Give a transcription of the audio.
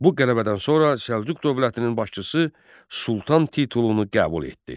Bu qələbədən sonra Səlcuq dövlətinin başçısı sultan titulunu qəbul etdi.